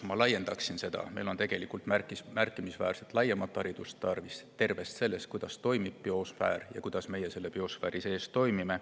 Ma laiendaksin seda: meil on tegelikult tarvis märkimisväärselt laiemat haridust sellest, kuidas toimib biosfäär ja kuidas meie selle biosfääri sees toimime.